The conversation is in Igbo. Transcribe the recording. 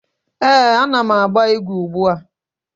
Eh, a na m agba igwe ugbua.